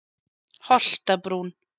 Holtabrún